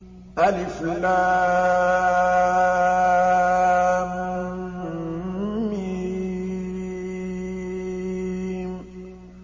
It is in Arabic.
الم